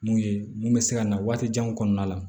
Mun ye mun bɛ se ka na waati janw kɔnɔna la